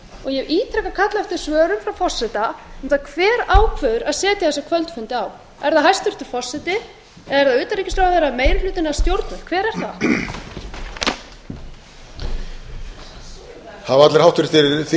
hef ítrekað kallað eftir svörum frá forseta um það hver ákveður að setja þessa kvöldfundi á er það hæstvirtur forseti er það utanríkisráðherra meiri hlutinn eða stjórnvöld hver er það